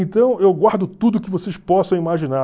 Então, eu guardo tudo que vocês possam imaginar.